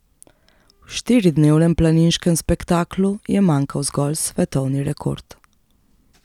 V štiridnevnem planiškem spektaklu je manjkal zgolj svetovni rekord.